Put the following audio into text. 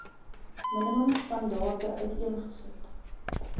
minimum standaarde uiteengesit